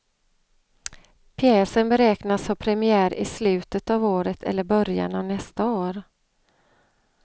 Pjäsen beräknas ha premiär i slutet av året eller början av nästa år.